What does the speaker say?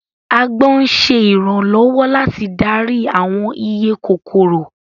Agbọ́n ń ṣe ìrànlọ́wọ́ láti darí àwọn iye kòkòrò